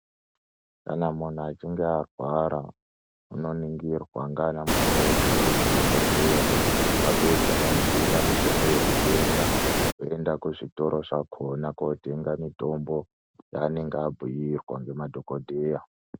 Kana muntu achinge arwara unoningirwa nganamukoti ngemadhokodheya vapedza vomubhuura mitombo yekutenga voenda kuzvitoro zvakhona kutenga mitombo yaanenge abhiirwa ngemadhokodheya.